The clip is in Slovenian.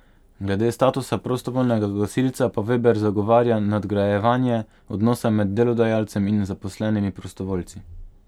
Glede statusa prostovoljnega gasilca pa Veber zagovarja nadgrajevanje odnosa med delodajalcem in zaposlenimi prostovoljci.